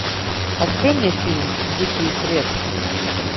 открой мне фильм дикие предки